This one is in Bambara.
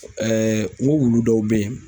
n ko wulu dɔw bɛ yen.